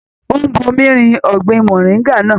Ó ń bumi rin ọgbin moringa náà.